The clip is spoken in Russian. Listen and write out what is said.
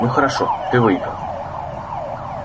ну хорошо ты выиграл